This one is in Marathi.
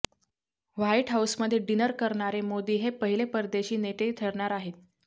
व्हाईट हाऊसमध्ये डिनर करणारे मोदी हे पहिले परदेशी नेते ठरणार आहेत